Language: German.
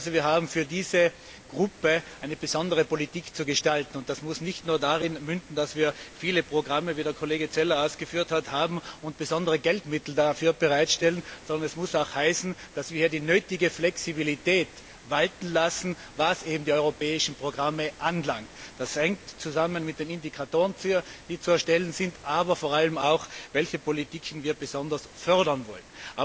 Wir haben also für diese Gruppe eine besondere Politik zu gestalten, und das muss nicht nur darin münden, dass wir, wie der Kollege Zeller ausgeführt hat, viele Programme haben und besondere Geldmittel dafür bereitstellen, sondern es muss auch heißen, dass wir die nötige Flexibilität walten lassen, was die europäischen Programme anbelangt. Das hängt zusammen mit den Indikatoren, die zu erstellen sind, aber vor allem auch, welche Politiken wir besonders fördern wollen.